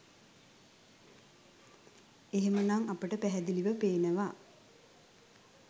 එහෙම නම් අපට පැහැදිලිව පේනවා